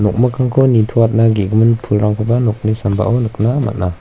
nok mikkangko nitoatna ge·gimin pulrangkoba nokni sambao nikna man·a.